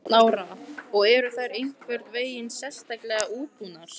Lára: Og eru þær einhvern veginn sérstaklega útbúnar?